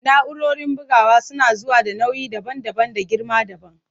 Na'urorin bugawa suna zuwa da nau'i daban-daban da girma dabam.